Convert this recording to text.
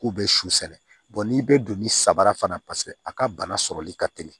K'u bɛ suli n'i bɛ don ni sabara fana a ka bana sɔrɔli ka teli